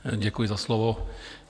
Děkuji za slovo.